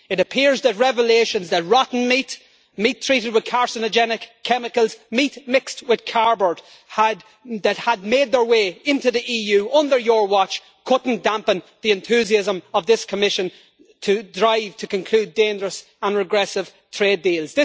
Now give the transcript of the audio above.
It appears that revelations that rotten meat, meat treated with carcinogenic chemicals, meat mixed with cardboard, that had made its way into the EU under your watch, could not dampen the enthusiasm of this Commission to try to conclude dangerous and regressive trade deals.